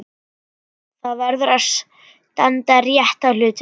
Það verður að standa rétt að hlutunum.